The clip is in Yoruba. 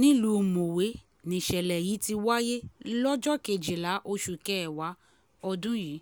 nílùú mọ̀wé nìṣẹ̀lẹ̀ yìí ti wáyé lọ́jọ́ kejìlá oṣù kẹwàá ọdún yìí